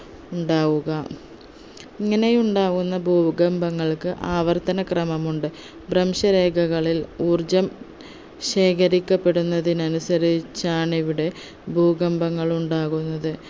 ഉണ്ടാവുക ഇങ്ങനെ ഉണ്ടാകുന്ന ഭൂകമ്പങ്ങൾക്ക് ആവർത്തന ക്രമമുണ്ട് ഭ്രംശരേഖകളിൽ ഊർജ്ജം ശേഖരിക്കപ്പെടുന്നതിന് അനുസരിച്ചാണ് ഇവിടെ ഭൂകമ്പങ്ങൾ ഉണ്ടാകുന്നത്